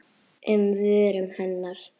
um vörum hennar.